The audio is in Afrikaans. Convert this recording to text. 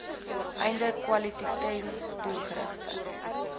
einde kwaliteiten doelgerigte